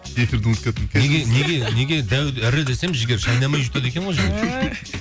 эфирді ұмытып кеттім неге дәу ірі десем жігер шайнамай жұтады екен ғой